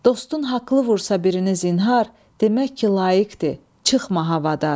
Dostun haqlı vursa birinizi zinha, demək ki, layiqdir, çıxma havadar.